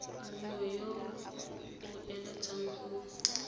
mongwe yo o eletsang go